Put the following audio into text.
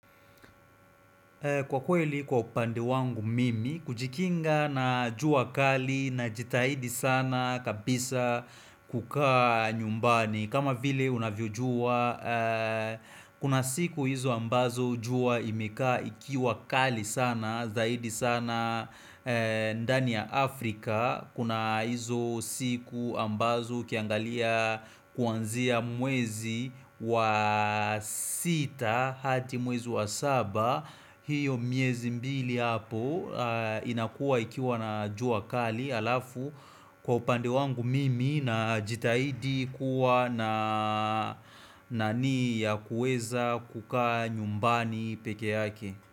Kwa kweli kwa upande wangu mimi, kujikinga na jua kali na jitahidi sana kabisa kukaa nyumbani. Kama vile unavyo jua, kuna siku hizo ambazo jua imeka ikiwa kali sana, zaidi sana ndani ya Afrika. Kuna hizo siku ambazo ukiangalia kuanzia mwezi wa sita hati mwezi wa saba hiyo miezi mbili hapo inakua ikiwa na jua kali alafu kwa upande wangu mimi na jitahidi kuwa na nani ya kueza kuka nyumbani peke yake.